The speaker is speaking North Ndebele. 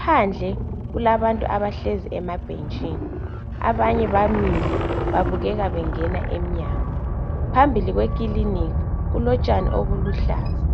Phandle kulabantu abahlezi emabhentshini abanye bamile babukeka bengena emnyango. Phambili kwekilinika kulotshani obuluhlaza.